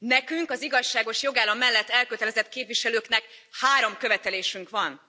Nekünk, az igazságos jogállam mellett elkötelezett képviselőknek három követelésünk van.